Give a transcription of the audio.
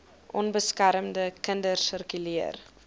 onbeskermde kinders sirkuleer